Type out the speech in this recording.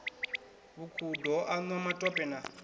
vhukhudo ho anwa matope na